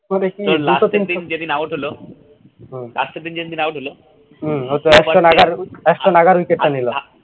last এর দিন যেদিন out হল হুম last এর দিন যে দিন out হল